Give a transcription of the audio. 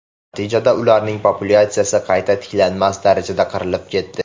Natijada, ularning populyatsiyasi qayta tiklanmas darajada qirilib ketdi.